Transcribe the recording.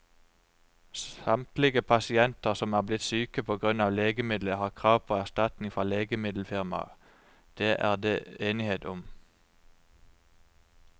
Samtlige pasienter som er blitt syke på grunn av legemiddelet, har krav på erstatning fra legemiddelfirmaet, det er det enighet om.